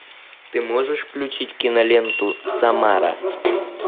ты можешь включить киноленту самара